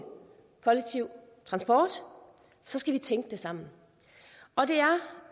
kollektiv transport skal vi tænke det sammen